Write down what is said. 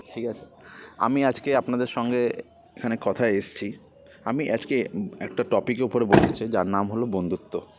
ঠিকাছে আমি আজকে আপনাদের সঙ্গে এখানে কথায় এসছি আমি আজকে একটা topic এর উপরে বলতে চাই যার নাম হল বন্ধুত্ব